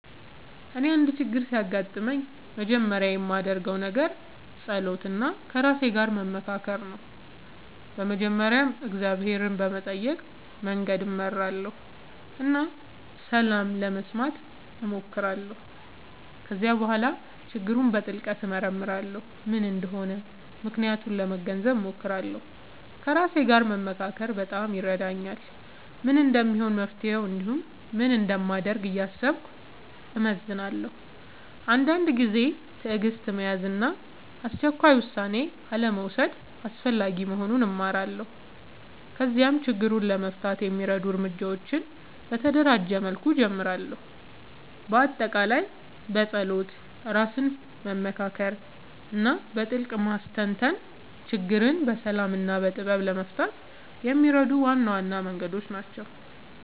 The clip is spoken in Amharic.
እኔ አንድ ችግር ሲያጋጥምኝ መጀመሪያ የማደርገው ነገር መጸሎት እና ከራሴ ጋር መመካከር ነው። በመጀመሪያ እግዚአብሔርን በመጠየቅ መንገድ እመራለሁ እና ሰላም ለመስማት እሞክራለሁ። ከዚያ በኋላ ችግሩን በጥልቅ እመርመራለሁ፤ ምን እንደሆነ ምክንያቱን ለመገንዘብ እሞክራለሁ። ከራሴ ጋር መመካከር በጣም ይረዳኛል፤ ምን እንደሚሆን መፍትሄ እንዲሁም ምን እንደማደርግ እያሰብኩ እመዝናለሁ። አንዳንድ ጊዜ ትዕግሥት መያዝ እና አስቸኳይ ውሳኔ አልመውሰድ አስፈላጊ መሆኑን እማራለሁ። ከዚያም ችግሩን ለመፍታት የሚረዱ እርምጃዎችን በተደራጀ መልኩ እጀምራለሁ። በአጠቃላይ መጸሎት፣ ራስን መመካከር እና በጥልቅ ማስተንተን ችግርን በሰላም እና በጥበብ ለመፍታት የሚረዱ ዋና ዋና መንገዶች ናቸው።